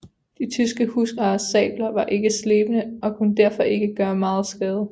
De tyske husarers sabler var ikke slebne og kunne derfor ikke gøre megen skade